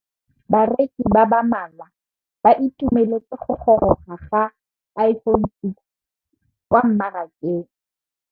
Bareki ba ba malwa ba ituemeletse go gôrôga ga Iphone6 kwa mmarakeng.